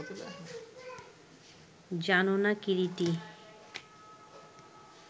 জান না কিরীটী